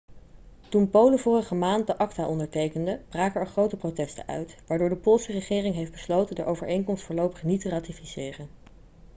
toen polen vorige maand de acta ondertekende braken er grote protesten uit waardoor de poolse regering heeft besloten de overeenkomst voorlopig niet te ratificeren